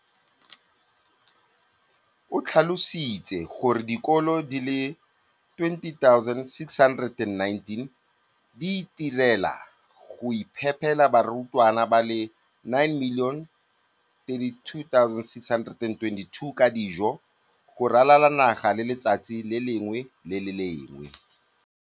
O tlhalositse gore dikolo di le 20 619 di itirela le go iphepela barutwana ba le 9 032 622 ka dijo go ralala naga letsatsi le lengwe le le lengwe.